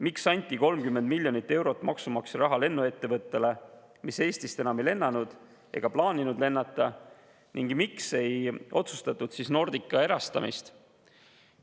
Miks anti 30 miljonit eurot maksumaksja raha lennuettevõttele, mis Eestist enam ei lennanud ega plaaninud lennata, ning miks ei otsustatud Nordica erastamist?